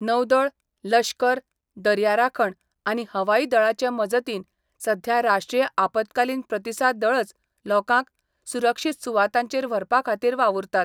नौदळ, लश्कर, दर्या राखण आनी हवाई दळाचे मजतीन सध्या राष्ट्रीय आपतकालीन प्रतिसाद दळच लोकांक सुरक्षीत सुवातांचेर व्हरपा खातीर वावुरतात.